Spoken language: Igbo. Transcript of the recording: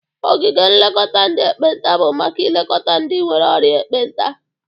Ogige nlekọta ndị ekpenta bụ maka ilekọta ndị nwere orịa ekpenta.